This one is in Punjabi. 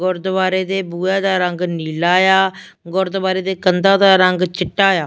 ਗੁਰਦੁਆਰੇ ਦੇ ਬੂਹੇ ਦਾ ਰੰਗ ਨੀਲਾ ਆ ਗੁਰਦੁਆਰੇ ਦੇ ਕੰਧਾਂ ਦਾ ਰੰਗ ਚਿੱਟਾ ਆ।